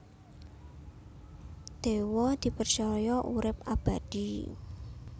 Dewa dipercaya urip abadi